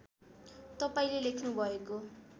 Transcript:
तपाईँले लेख्नु भएको